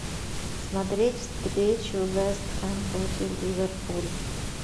смотреть встречу вест хэм против ливерпуль